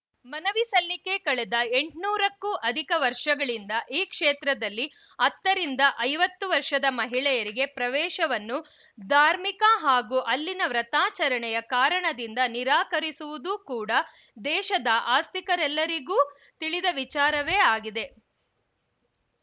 ಮನವಿ ಸಲ್ಲಿಕೆ ಕಳೆದ ಎಂಟ್ನೂರಕ್ಕೂ ಅಧಿಕ ವರ್ಷಗಳಿಂದ ಈ ಕ್ಷೇತ್ರದಲ್ಲಿ ಹತ್ತರಿಂದ ಐವತ್ತು ವರ್ಷದ ಮಹಿಳೆಯರಿಗೆ ಪ್ರವೇಶವನ್ನು ಧಾರ್ಮಿಕ ಹಾಗೂ ಅಲ್ಲಿನ ವ್ರತಾಚರಣೆಯ ಕಾರಣದಿಂದ ನಿರಾಕರಿಸಿರುವುದು ಕೂಡ ದೇಶದ ಆಸ್ತಿಕರಿಗೆಲ್ಲರಿಗೂ ತಿಳಿದ ವಿಚಾರವೇ ಆಗಿದೆ